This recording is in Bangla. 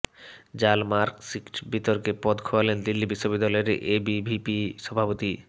জাল মার্কশিট বিতর্কে পদ খোয়ালেন দিল্লি বিশ্ববিদ্যালয়ের এবিভিপি সভাপতি